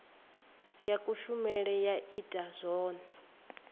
ya kushemele ya ita zwone